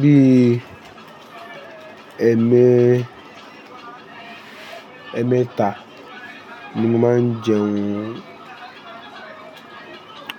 Bí i ẹmẹ, ẹmẹta ni mo máa ń jẹ ohun